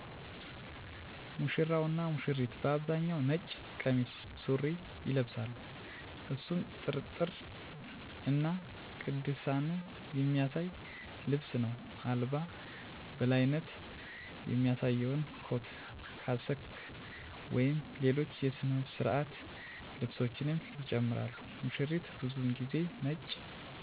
ሙሽራው እና ሙሽሪት በአብዛኛው ነጭ ቀሚስ (ሱሪ) ይለብሳሉ፣ እሱም ጥርጥርን እና ቅድስናን የሚያሳይ ልብስ ነው። አልባ በላይነት የሚያሳየውን ኮት (ካስክ) ወይም ሌሎች የሥነ ሥርዓት ልብሶችንም ይጨምራሉ። ሙሽሪት ብዙውን ጊዜ ነጭ ቀሚስ ትለብሳለች፣ አንዳንዴም የራስ ሽፋን (ማንጣፍ) ትጠቀማለች። ይህ ልብስ ለተከበሩ ሥነ ሥርዓቶች ተገቢውን አክብሮት እና ትኩረት ለማሳየት ይረዳል።